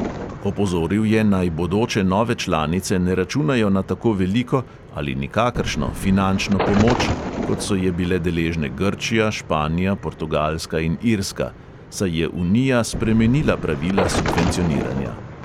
Opozoril je, naj bodoče nove članice ne računajo na tako veliko (ali nikakršno) finančno pomoč, kot so je bile deležne grčija, španija, portugalska in irska, saj je unija spremenila pravila subvencioniranja.